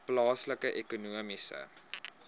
plaaslike ekonomiese